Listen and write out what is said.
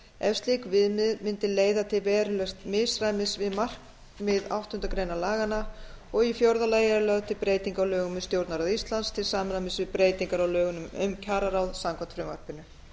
ef slík viðmiðun mundi leiða til verulegs misræmis við markmið átta greinar laganna og í fjórða lagi eru lögð til breyting á lögum um stjórnarráð íslands til samræmis við breytingar á lögunum um kjararáð samkvæmt frumvarpinu